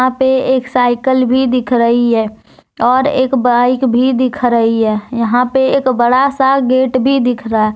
यहां पे एक साइकल भी दिख रही है और एक बाइक भी दिख रही है यहां पे एक बड़ा सा गेट भी दिख रहा है।